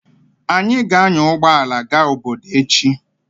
Anyị ga-anya ụgbọ ala gaa obodo echi.